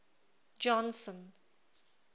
johnson